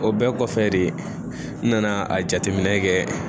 O bɛɛ kɔfɛ de n nana a jateminɛ kɛ